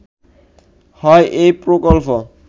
হয় এ প্রকল্প